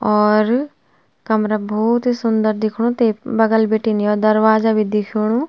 और कमरा भौत ही सुन्दर दिख्णु ते बगल बिटिन यो दरवाजा भी दिख्युणूं।